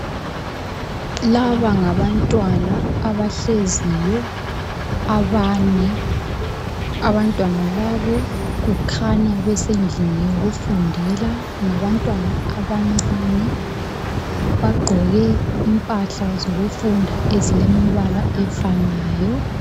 Laba ngabantwana abahleziyo abane. Abantwana labo kukhanya besendlini yokufundela. Ngabantwana abancane bagqoke impahla zokufunda ezilemibala efanayo.